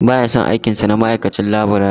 Ba ya son aikin sa na ma'aikacin laburare.